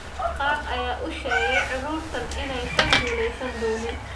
Qaar ayaa u sheegay carruurtan inaysan guuleysan doonin.